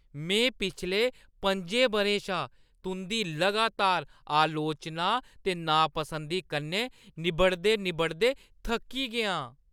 में पिछले पं'जी बʼरें शा तुंʼदी लगातार अलोचना ते नापंसदी कन्नै निब्बड़दे-निब्बड़दे थक्की गेआ आं।